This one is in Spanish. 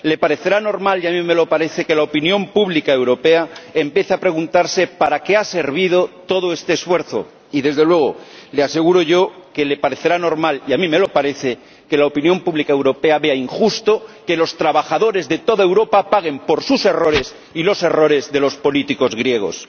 Le parecerá normal, y a mí me lo parece, que la opinión pública europea empiece a preguntarse para qué ha servido todo este esfuerzo y, desde luego, le aseguro yo que le parecerá normal, y a mí me lo parece, que la opinión pública europea vea injusto que los trabajadores de toda Europa paguen por sus errores y los errores de los políticos griegos.